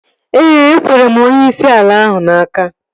Ee, ekwere m onyeisi ala ahụ n'aka